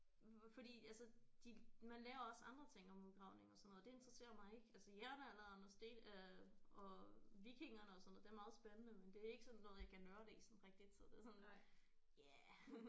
Fordi altså de man lærer også andre ting om udgravninger og sådan noget det interesserer mig ikke altså jernalderen og sten øh og vikingerne og sådan noget det er meget spændende men det er ikke sådan noget jeg kan nørde i sådan rigtigt så det er sådan ja